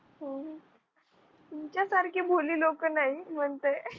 हम्म तुमच्यासारखे भोळी लोक नाही म्हणते